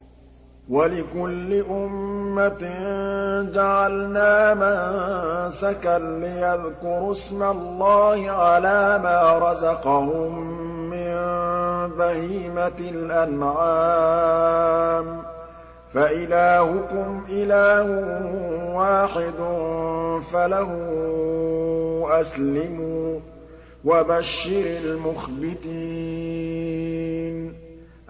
وَلِكُلِّ أُمَّةٍ جَعَلْنَا مَنسَكًا لِّيَذْكُرُوا اسْمَ اللَّهِ عَلَىٰ مَا رَزَقَهُم مِّن بَهِيمَةِ الْأَنْعَامِ ۗ فَإِلَٰهُكُمْ إِلَٰهٌ وَاحِدٌ فَلَهُ أَسْلِمُوا ۗ وَبَشِّرِ الْمُخْبِتِينَ